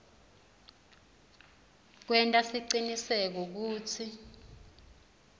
kwenta siciniseko kutsi